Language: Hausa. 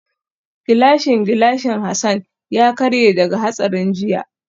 Gilashin gilashin Hassan ya karye daga hatsarin jiya